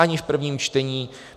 Ani v prvním čtení.